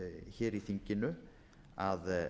hér í þinginu að